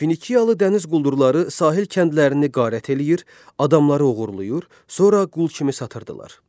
Finikiyalı dəniz quldurları sahil kəndlərini qarət eləyir, adamları oğurlayır, sonra qul kimi satırdılar.